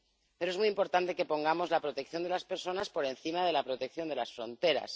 Pero es muy importante que pongamos la protección de las personas por encima de la protección de las fronteras.